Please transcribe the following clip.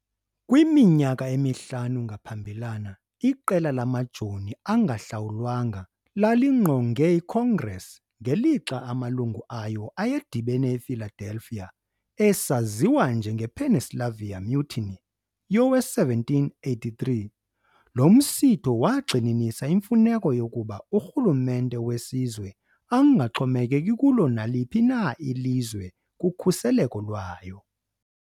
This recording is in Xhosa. Kwiminyaka emihlanu ngaphambilana, iqela lamajoni angahlawulwanga lalingqonge iCongress ngelixa amalungu ayo ayedibene ePhiladelphia. Esaziwa njengePennsylvania Mutiny yowe-1783, lo msitho wagxininisa imfuneko yokuba urhulumente wesizwe angaxhomekeki kulo naliphi na ilizwe kukhuseleko lwayo.